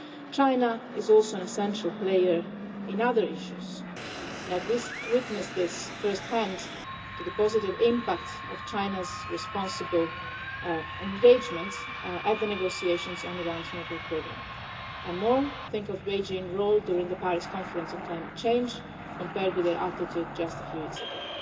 China is also an essential player in other issues. I have witnessed first hand the positive impact of China's responsible engagement in the negotiations on Iran's nuclear programme, and more I think of Beijing's role during the Paris conference on climate change compared with their attitude just a few years ago.